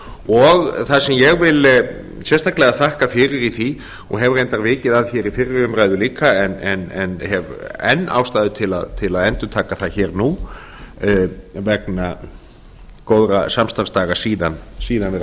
og það sem ég vil sérstaklega þakka fyrir í því og hef reyndar vikið að hér í fyrri umræðu líka en hef enn ástæðu til að endurtaka það hér og nú vegna góðra samstarfsdaga síðan við